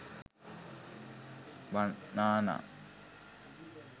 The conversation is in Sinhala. banana